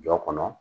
Jɔ kɔnɔ